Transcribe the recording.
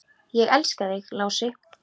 Ég elska þig, Lási.